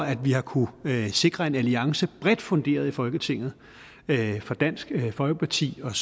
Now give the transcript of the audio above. at vi har kunnet sikre en alliance bredt funderet i folketinget med dansk folkeparti og